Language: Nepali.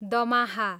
दमाहा